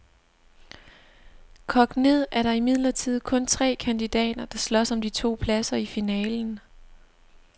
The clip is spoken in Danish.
Kogt ned er der imidlertid kun tre kandidater, der slås om de to pladser i finalen.